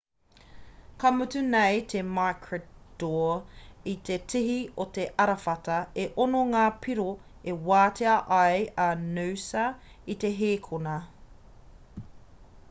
kua mutu nei a maroochydore i te tihi o te arawhata e ono ngā piro e wātea ai a noosa i te hēkona